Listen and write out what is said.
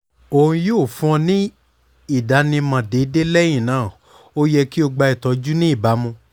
o yoo fun ọ ni idanimọ deede lẹhinna o yẹ ki o gba itọju ni ibamu